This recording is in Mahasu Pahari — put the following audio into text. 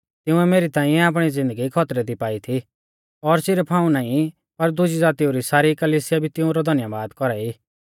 तिंउऐ मेरी ताइंऐ आपणी ज़िन्दगी खौतरै दी पाई थी और सिरफ हाऊं नाईं पर दुजी ज़ातीऊ री सारी कलिसिया भी तिउंरौ धन्यबाद कौरा ई